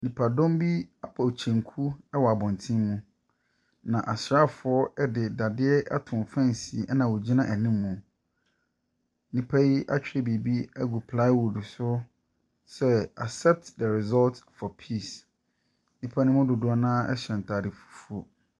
Nipadɔm bi abɔ kyenku wɔ abɔntene mu, na asraafoɔ de dadeɛ ato fen, ɛna wɔgyina anim. Nnipa yi atwerɛ biribi agu plywood so sɛ Accept the result for peace. Nnipa no mu dodoɔ no ara hyɛ ntade fufuo.